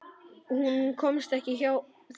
Hún komst ekki hjá því.